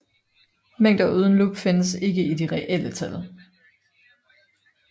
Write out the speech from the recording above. Mængder uden lub findes ikke i de reelle tal